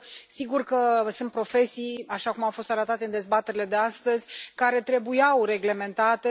Sigur că sunt profesii așa cum a fost arătat în dezbaterile de astăzi care trebuiau reglementate.